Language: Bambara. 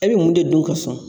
E bɛ mun de dun ka sɔn?